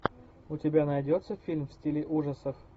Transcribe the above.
у тебя найдется фильм в стиле ужасов